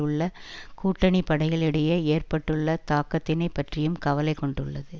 உள்ள கூட்டணிப்படைகளிடையே ஏற்பட்டுள்ள தாக்கத்தினை பற்றியும் கவலை கொண்டுள்ளது